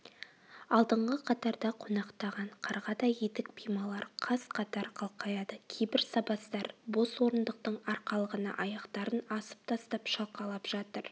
алдыңғы қатарда қонақтаған қарғадай етік-пималар қаз-қатар қалқаяды кейбір сабаздар бос орындықтың арқалығына аяқтарын асып тастап шалқалап жатыр